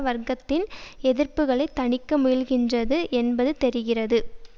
வர்க்கத்தின் எதிர்ப்புகளை தணிக்க முயல்கின்றது என்பது தெரிகிறது